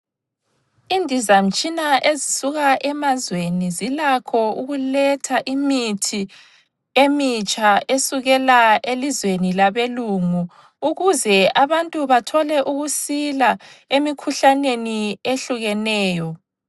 Indizamtshina ezisuka emazweni zilakho ukuletha imithi emitsha esukela elizweni labelungu ukuze abantu bathole ukusila emikhuhlaneni ehlukeneyo.